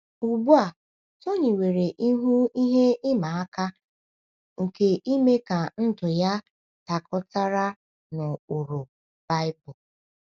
Ugbu a, Tony nwere ihu ihe ịma aka nke ime ka ndụ ya dakọtara na ụkpụrụ Baịbụl.